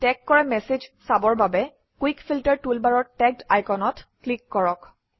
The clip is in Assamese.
টেগ কৰা মেচেজ চাবৰ বাবে কুইক ফিল্টাৰ টুলবাৰৰ টেগড আইকনত ক্লিক কৰক